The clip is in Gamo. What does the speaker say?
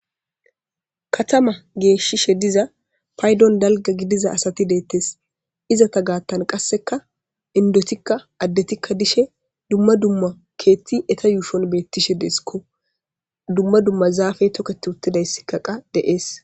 katama geeshishe diza paydon dalga gidiza asati deettes izata gaattan qasseka indotikka addetikka dishe dumma dumma keetti eta yuushon beettishe deeskko dumma dumma zaafe toketi uttidayssikkaqa de7ees